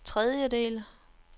tredjedel